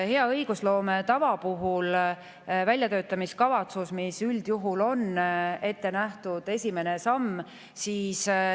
Hea õigusloome tava puhul on üldjuhul esimese sammuna ette nähtud väljatöötamiskavatsus.